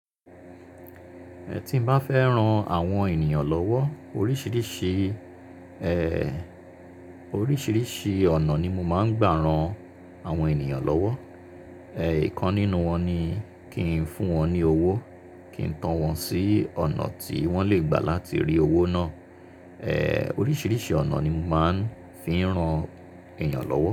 Ẹ̀ tí n bá fẹ́ rán àwọn ènìyàn lọ́wọ́ oríṣìíríṣìí ọ̀nà ni mo máa ń gbà rán àwọn ènìyàn lọ́wọ́. Ẹ̀ kan nínú wọn ni kí n fún wọn ní owó, kí n tán wọn sí ọ̀nà tí wọ́n lè gbà láti rí owó náà. Ẹ̀ oríṣìíríṣìí ọ̀nà ni mo máa ń fi rán ènìyàn lọ́wọ́.